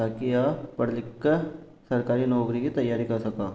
ताकि आप पढ़ लिखकर सरकारी नौकरी की तैयारी कर सको।